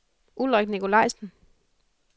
Ulrik Nicolajsen